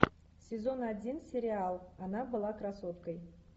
сезон один сериал она была красоткой